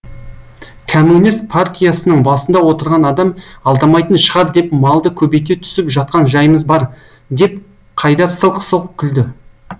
кәмунес партиясының басында отырған адам алдамайтын шығар деп малды көбейте түсіп жатқан жайымыз бар деп қайдар сылқ сылқ күлді